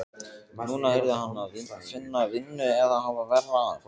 Núna yrði hann að finna vinnu eða hafa verra af.